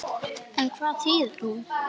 En hvað þýðir hún?